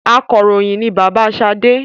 Akọròyìn ni bàbá sade